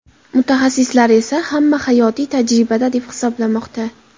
Mutaxassislar esa hamma gap hayotiy tajribada, deb hisoblamoqda.